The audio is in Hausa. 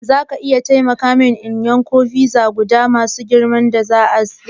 Zaka iya taimaka mini in yanka fiza zuwa guda masu girman da za'a gutsura?